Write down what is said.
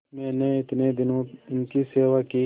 मैंने इतने दिनों इनकी सेवा की